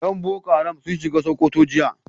Yan boko haram sun shiga Sokoto jiya